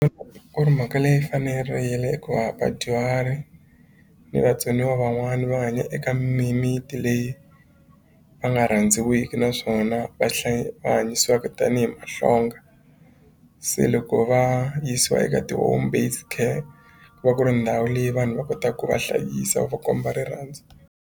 Ku ri mhaka leyi fanerile hikuva vadyuhari ni vatsoniwa van'wani va hanya eka mimiti leyi va nga rhandziwiki naswona va va hanyisiwaka tanihi mahlonga se loko va yisiwa eka ti-home based care ku va ku ri ndhawu leyi vanhu va kot ku va hlayisa va va komba rirhandzu.